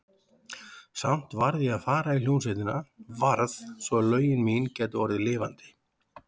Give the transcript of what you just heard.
Samt varð ég að fara í hljómsveitina, varð, svo að lögin mín gætu orðið lifandi.